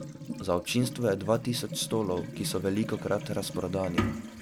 Za občinstvo je dva tisoč stolov, ki so velikokrat razprodani.